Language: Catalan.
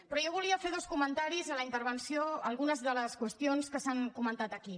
però jo volia fer dos comentaris a la intervenció a algunes de les qüestions que s’han comentat aquí